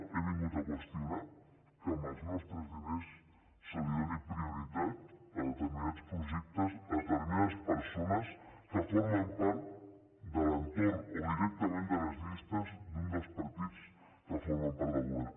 he vingut a qüestionar que amb els nostres diners es doni prioritat a determinats projectes a determinades persones que formen part de l’entorn o directament de les llistes d’un dels partits que formen part del govern